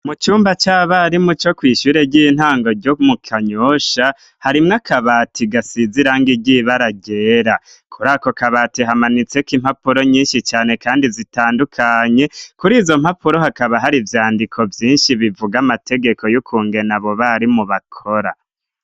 Mu cumba c'abarimu co ku ishyure ry'intango ryo mu Kanyosha harimwo akabati gasize irangi ry'ibara ryerakuri ako kabati hamanitseko impapuro nyishi cane kandi zitandukanye kuri izo mpapuro hakaba hari ivyandiko vyinshi bivuga amategeko y'ukungena abo barimu bakora.